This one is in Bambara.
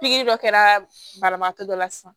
Pikiri dɔ kɛra banabaatɔ dɔ la sisan